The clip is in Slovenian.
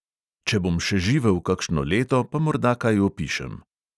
Če bom še živel kakšno leto, pa morda kaj opišem.